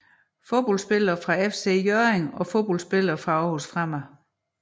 Fodboldspillere fra FC Hjørring Fodboldspillere fra Aarhus Fremad